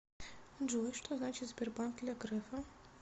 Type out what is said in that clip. джой что значит сбербанк для грефа